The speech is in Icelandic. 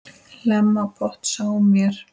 Hlemm á potti sáum vér.